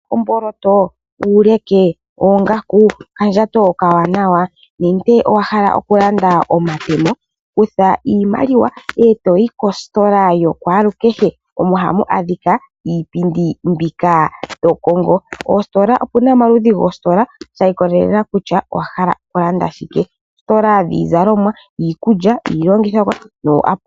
Owa hala omboloto, uuleke, oongaku, okandjato okawanawa nenge owa hala okulanda omatemo? Kutha iimaliwa e to yi kositola yakwalukehe, omo hamu adhika iipindi mbika to kongo. Opu na omaludhi goositola shi ikolelela kutya owa hala okulanda shike. Oositola dhiizalomwa, iikulya niilongithomwa.